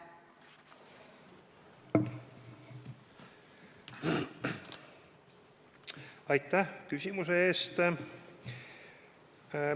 Aitäh küsimuse eest!